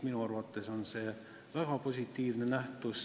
Minu arvates on see väga positiivne.